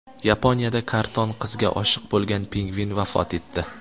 Yaponiyada karton qizga oshiq bo‘lgan pingvin vafot etdi.